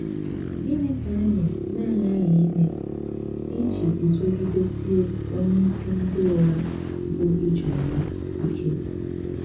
Gịnị ka anyị na - aghaghị ime iji guzogidesie onyeisi ndị ụgha, bụ́ ijeoma, ike?